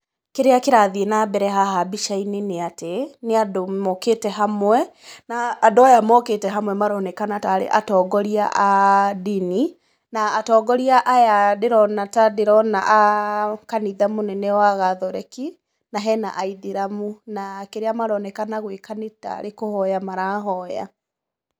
Kĩrĩa kĩrathiĩ na mbere haha mbica-inĩ nĩ atĩ, nĩ andũ mokĩte hamwe na andũ aya mokĩte hamwe maronekana ta arĩ atongoria a ndini na atongoria aya ndĩrona ta ndĩrona a kanitha mũnene wa Gathoreki na hena Aithĩramu na kĩrĩa maronekana gwĩka nĩ ta arĩ kũhoya marahoya.